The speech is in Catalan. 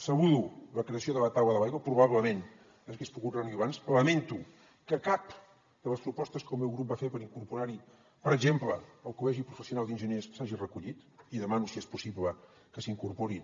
saludo la creació de la taula de l’aigua probablement s’hagués pogut reunir abans lamento que cap de les propostes que el meu grup va fer per incorporar hi per exemple el col·legi professional d’enginyers s’hagi recollit i demano si és possible que s’hi incorpori